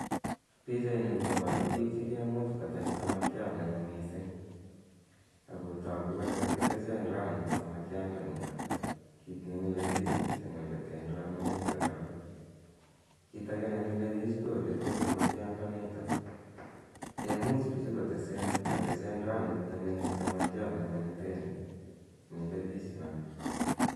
Pichaini koparu pik che kemuch kotech samakiat ne oo missing' ako tagu kole kakiteche ndoanut samakiandanitok, kiit ne mile pich missing' ole te ndoanunitol korok. Kit age ne mile pich ko ole te samakiandanitok. Kemuch pichu koteche ndoanut samakiat ne oo ne te ni! Mile pich naa.